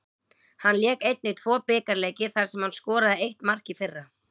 Hann lék einnig tvo bikarleiki þar sem hann skoraði eitt mark í fyrra.